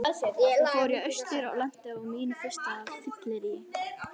Svo fór ég austur og lenti á mínu fyrsta fylleríi.